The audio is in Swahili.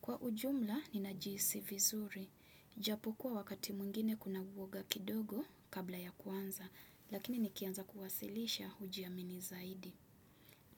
Kwa ujumla, ninajihisi vizuri. Japo kuwa wakati mwingine kuna uoga kidogo kabla ya kuanza, lakini nikianza kuwasilisha ujiamini zaidi.